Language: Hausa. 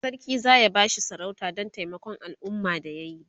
sarki zaya bashi sarauta Dan taimakon alumma da yayi